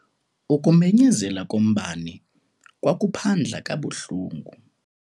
Ukumenyezela kombane kwakuphandla kabuhlungu.